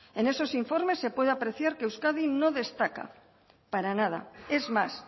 en esos informes se puede apreciar que euskadi no destaca para nada es más